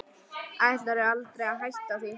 Ætlaði aldrei að hætta því.